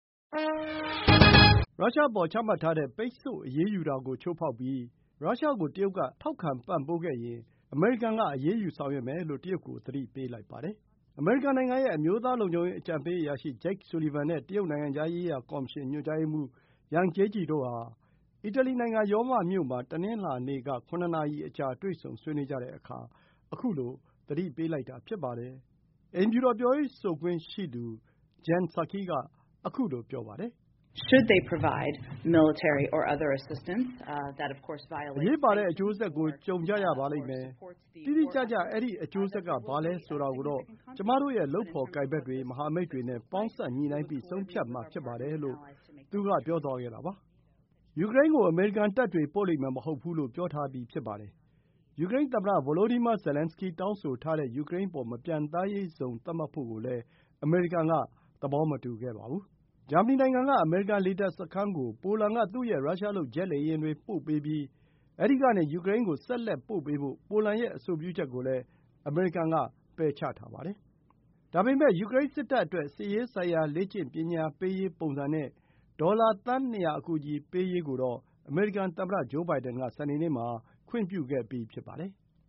ရုရှား အပေါ် ချမှတ်ထားတဲ့ ပိတ်ဆို့ အရေးယူတာ ကို ချိုးဖောက်ပြီး ရုရှား ကို တရုတ် က ထောက်ခံပံ့ပိုးခဲ့ရင်၊ အမေရိကန် က အရေးယူ ဆောင်ရွက်မယ်လို့ တရုတ် ကို သတိပေးလိုက်ပါတယ်။ အမေရိကန်ပြည်ထောင်စု အမျိုးသားလုံခြုံရေး အကြံပေး အရာရှိ Jake Sullivan နဲ့ တရုတ် နိုင်ငံခြားရေးရာ ကော်မရှင် ညွှန်ကြားရေးမှူး Yang Jiechi တို့ အီတလီနိုင်ငံ ရောမမြို့ မှာ တနင်္လာနေ့ က ခုနစ်နာရီ အကြာ တွေ့ဆုံဆွေးနွေးကြတဲ့အခါ ခုလို သတိပေးလိုက်တာ ဖြစ်ပါတယ်။ အိမ်ဖြူတော် ပြောရေးဆိုခွင့်ရှိသူ Jen Psaki က ခုလို ပြောပါတယ်။ “အရေးပါတဲ့ အကျိုးဆက် ကို ကြုံရပါလိမ့်မယ်။ တိတိကျကျ အဲဒီ အကျိုးဆက် က ဘာလဲ ဆိုတာကိုတော့ ကျွန်မတို့ ရဲ့ လုပ်ဖော်ကိုင်ဖက်တွေ၊ မဟာမိတ်တွေ နဲ့ ပေါင်းစပ် ညှိနှိုင်းပြီး ဆုံးဖြတ်မှာ ဖြစ်ပါတယ်” လို့ ပြောသွားခဲ့တာပါ။ ယူကရိန်း ကို အမေရိကန်တပ်တွေ ပို့လိမ့်မယ် မဟုတ်ဘူး လို့ ပြောထားပြီး ဖြစ်ပါတယ်။ ယူကရိန်း သမ္မတ ဗိုလိုဒီမာ ဇာလန်းစကီး တောင်းဆိုထားတဲ့ ယူကရိန်း အပေါ် မပျံသန်းရေး ဇုံ သတ်မှတ်ဖို့ကိုလည်း အမေရိကန် က သဘောမတူပါဘူး။ ပိုလန်က ဂျာမဏီနိုင်ငံရှိ အမေရိကန် လေတပ်စခန်းကို သူ့ ရဲ့ ရုရှားလုပ် ဂျက်လေယာဉ်တွေ ပို့ပေးပြီး၊ အဲဒီကနေ ယူကရိန်း ကို ဆက်လက် ပို့ပေးဖို့ ပိုလန် ရဲ့ အဆိုပြုချက်ကိုလည်း အမေရိကန် က ပယ်ချထားပါတယ်။ ဒါပေမဲ့ ယူကရိန်း စစ်တပ်အတွက် စစ်ရေးဆိုင်ရာ လေ့ကျင့်ပညာပေးရေး ပုံစံ နဲ့ ဒေါ်လာ သန်း ၂၀၀ အကူအညီပေးရေး ကိုတော့ အမေရိကန်သမ္မတ ဂျိုး ဘိုင်ဒင် က စနေနေ့ မှာ ခွင့်ပြုခဲ့ပြီး ဖြစ်ပါတယ်။